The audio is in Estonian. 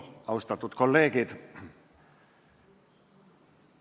Austatud kolleegid!